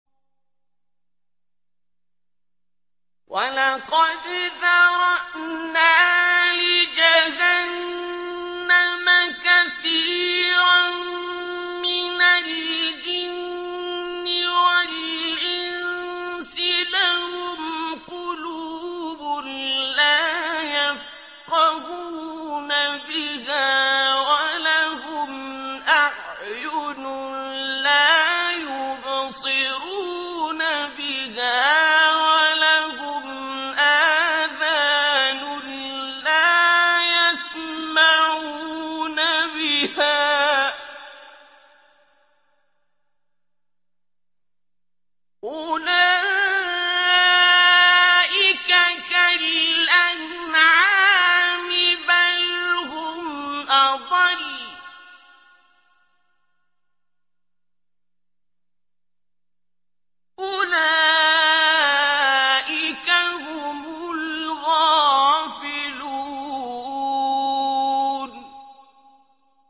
وَلَقَدْ ذَرَأْنَا لِجَهَنَّمَ كَثِيرًا مِّنَ الْجِنِّ وَالْإِنسِ ۖ لَهُمْ قُلُوبٌ لَّا يَفْقَهُونَ بِهَا وَلَهُمْ أَعْيُنٌ لَّا يُبْصِرُونَ بِهَا وَلَهُمْ آذَانٌ لَّا يَسْمَعُونَ بِهَا ۚ أُولَٰئِكَ كَالْأَنْعَامِ بَلْ هُمْ أَضَلُّ ۚ أُولَٰئِكَ هُمُ الْغَافِلُونَ